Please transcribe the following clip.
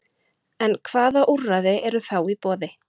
En hvaða úrræði eru þá í boði?